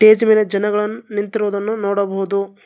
Stage ಮೇಲೆ ಜನಗಳನ್ನು ನಿಂತಿರುವುದನ್ನು ನೋಡಬಹುದು.